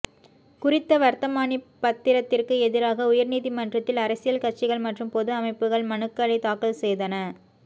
குறித்த வர்த்தமானி பத்திரத்திற்கு எதிராக உயர்நீதிமன்றத்தில் அரசியல் கட்சிகள் மற்றும் பொது அமைப்புக்கள் மனுக்களை தாக்கல் செய்தன